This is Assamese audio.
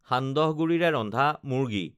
সান্দহগুড়িৰে ৰন্ধা মুৰ্গী